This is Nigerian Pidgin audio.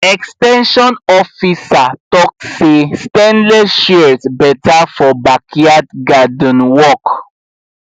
ex ten sion officer talk say stainless shears better for backyard garden work